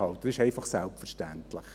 Das ist einfach selbstverständlich.